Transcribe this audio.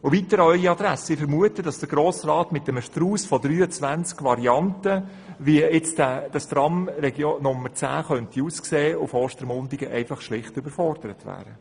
Weiter an Ihre Adresse: Ich vermute, dass der Grosse Rat mit einem Strauss von 23 Varianten, wie die Tramlinie 10 nach Ostermundigen aussehen könnte, schlicht überfordert wäre.